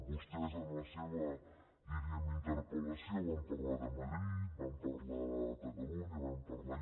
vostès en la seva diríem interpellació van parlar de madrid van parlar de catalunya van parlar